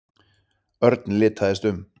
Örn litaðist um.